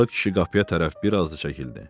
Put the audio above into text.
Arıq kişi qapıya tərəf bir az da çəkildi.